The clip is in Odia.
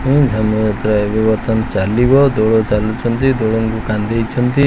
ଧନୁଯାତ୍ରା ବି ବର୍ତ୍ତମାନ ଚାଲିବ ଦୋଳ ଚାଲୁଛନ୍ତି ଦୋଳଙ୍କୁ କାନ୍ଧେଇଛନ୍ତି।